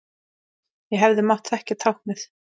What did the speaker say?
Ég hefði mátt þekkja táknið.